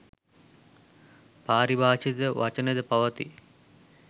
පාරිභාෂිත වචනද පවතී